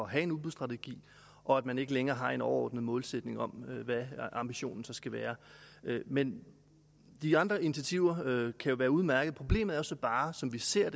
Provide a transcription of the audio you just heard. have en udbudsstrategi og at man ikke længere har en overordnet målsætning om hvad ambitionen så skal være men de andre initiativer kan jo være udmærkede problemet er så bare som vi ser